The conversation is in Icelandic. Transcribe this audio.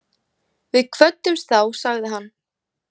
Við kvöddumst þá, sagði hann.